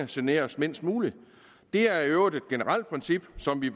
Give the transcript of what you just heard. generes mindst muligt det er i øvrigt et generelt princip som vi